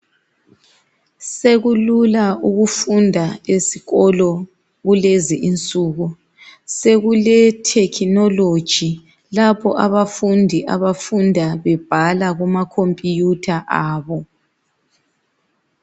Sekulula ukufunda esikolo kulezinsuku. Sekulethekhinoloji, lapho abafundi abafunda bebhala kuma khompiyutha abo.